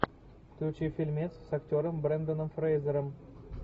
включи фильмец с актером бренданом фрейзером